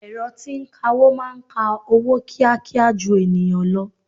Ẹ̀rọ tí ń kawó máa ń ka owó kíákíá ju ènìyàn lọ.